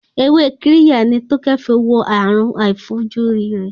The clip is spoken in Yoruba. Ewé Kirya ni Tókẹ́ fi wo àrùn àìfojúrí rẹ̀.